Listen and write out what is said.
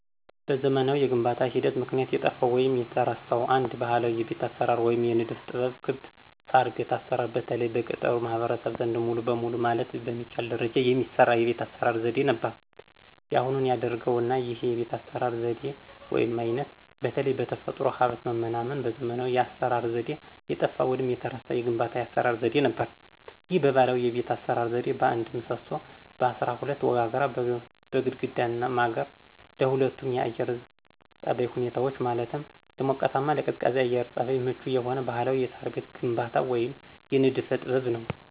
በዘመናዊ የግንባታ ሂደት ምክንያት የጠፋው ወይንም የተረሳው አንድ ባህላዊ የቤት አሰራር ወይም የንድፍ ጥበብ ክብ የሳርቤት አሰራር በተለይ በገጠሩ ማህበረሰብ ዘንድ ሙሉ በሙሉ ማለት በሚቻል ደረጃ የሚሰራ የቤት አስራ ዘዴ ነበር ያሁኑን አያርገውና ይህ የቤት አሰራር ዘዴ ወይም አይነት በተለይ በተፈጥሮ ሀብት መመናመንና በዘመናዊ የአሰራር ዘዴ የጠፋ ወይንም የተረሳ የግንባታ የአሰራር ዘዴ ነበር። ይህ ባህላዊ የቤት አሰራር ዘዴ በአንድ ምሰሶ፣ በአስራ ሁለት ወጋግራ፣ በግድግዳና ማገር ለሁለቱም የአየር ፀባይ ሁኔታዎች ማለትም ለሞቃታማም ለቀዝቃዛም የአየር ፀባይ ምቹ የሆነ ባህላዊ የሳር ቤት ግንባታ ወይም የንድፈ ጥበብ ነው።